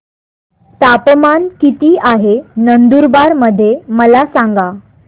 तापमान किता आहे नंदुरबार मध्ये मला सांगा